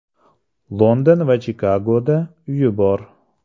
London va Chikagoda uyi bor.